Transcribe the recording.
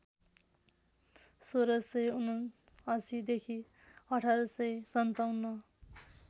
१६७९ देखि १८५७